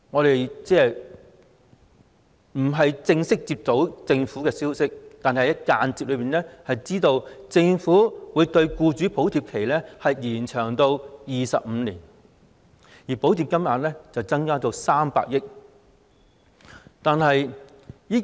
雖然沒有正式公布，但我們間接得知，政府會將僱主補貼期延長至25年，而補貼金額亦會增加至300億元。